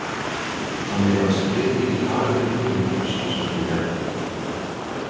Þannig að skrif þín í dag eru tilhæfulaus, sagði Bjarni.